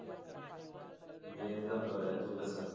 मी एकदम बरा आहे तू कसा आहेस?